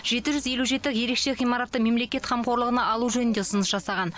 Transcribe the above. жеті жүз елу жеті ерекше ғимаратты мемлекет қамқорлығына алу жөнінде ұсыныс жасаған